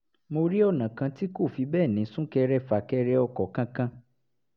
mo rí ọ̀nà kan tí kò fi bẹ́ẹ̀ ní sún-kẹrẹ-fà-kẹrẹ-ọkọ̀ kankan